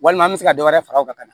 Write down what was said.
Walima an bɛ se ka dɔ wɛrɛ fara a kan